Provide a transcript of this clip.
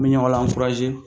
Bɛ ɲɔgɔn la